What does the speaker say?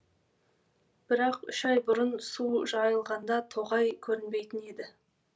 бірақ үш ай бұрын су жайылғанда тоғай көрінбейтін еді